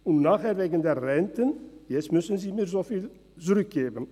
Anschliessend muss man davon wieder etwas zurückgeben.